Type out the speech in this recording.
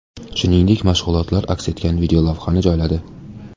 Shuningdek, mashg‘ulotlar aks etgan videolavhani joyladi.